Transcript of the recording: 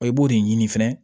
i b'o de ɲini fɛnɛ